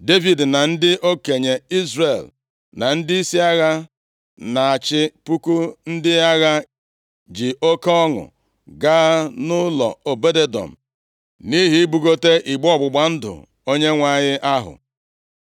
Devid na ndị okenye Izrel, na ndịisi agha na-achị puku ndị agha, ji oke ọṅụ gaa nʼụlọ Obed-Edọm nʼihi ibugote igbe ọgbụgba ndụ Onyenwe anyị ahụ.